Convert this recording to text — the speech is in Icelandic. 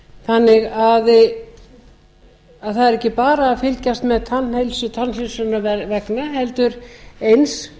þannig að það er ekki bara að fylgjast með tannheilsu tannheilsunnar vegna heldur eins